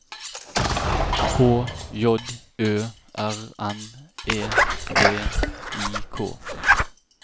H J Ø R N E V I K